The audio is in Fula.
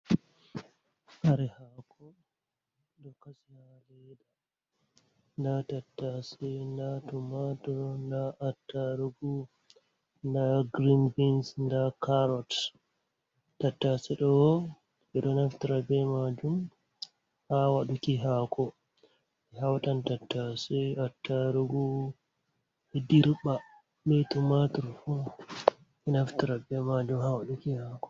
Kare hako ɗo kasi haleda nda tattase nda tumatur nda attarugu nda grin bins nda carrot tattase ɗo ɓeɗo naftira ɓe majum ha waduki hako ɓe hautan tattase ɓe attarugu ɓedirɓa ɓe tumatur fu naftira ɓe majum ha waduki hako.